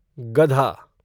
गधा